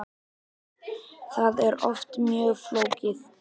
Það er oft mjög flókið.